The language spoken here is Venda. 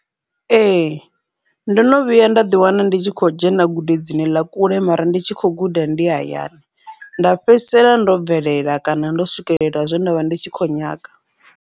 Ee, ndono vhuya nda ḓi wana ndi tshi khou dzhena gudedzine ḽa kule mara ndi tshi kho guda ndi hayani nda fhedzisela ndo bvelela kana ndo swikelela zwe nda vha ndi tshi kho nyaga.